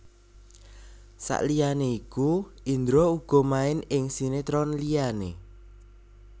Saliyané iku Indra uga main ing sinetron liyané